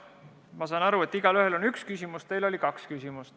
Ma saan aru, et igaühel on üks küsimus, teil oli kaks küsimust.